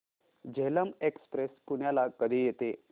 Jhelum express पुण्याला कधी येते